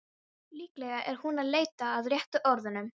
Líklega er hún að leita að réttu orðunum.